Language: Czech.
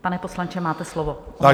Pane poslanče, máte slovo.